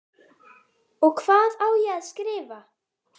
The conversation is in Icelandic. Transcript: Og hvað á ég að skrifa?